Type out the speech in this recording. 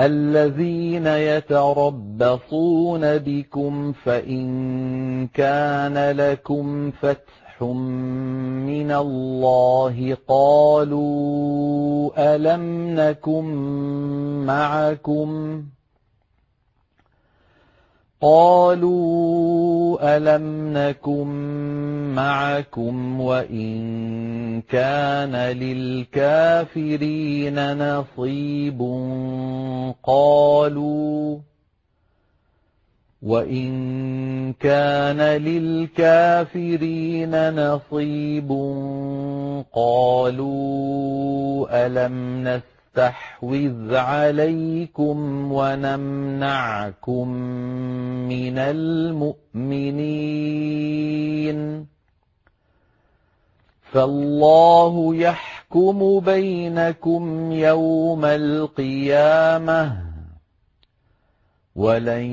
الَّذِينَ يَتَرَبَّصُونَ بِكُمْ فَإِن كَانَ لَكُمْ فَتْحٌ مِّنَ اللَّهِ قَالُوا أَلَمْ نَكُن مَّعَكُمْ وَإِن كَانَ لِلْكَافِرِينَ نَصِيبٌ قَالُوا أَلَمْ نَسْتَحْوِذْ عَلَيْكُمْ وَنَمْنَعْكُم مِّنَ الْمُؤْمِنِينَ ۚ فَاللَّهُ يَحْكُمُ بَيْنَكُمْ يَوْمَ الْقِيَامَةِ ۗ وَلَن